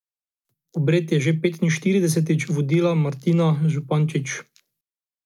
Obred je že petinštiridesetič vodila Martina Zupančič.